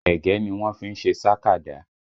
Ẹ̀gẹ́ ni wọ́n fí ń ṣe sàkádà